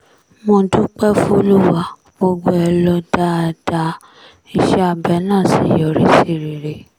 mo dúpẹ́ fọ́lùwà gbogbo ẹ̀ lọ dáadáa iṣẹ́ abẹ náà sì yọrí sí rere